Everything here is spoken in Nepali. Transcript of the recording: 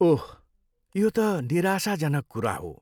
ओह, यो त निराशजनक कुरा हो।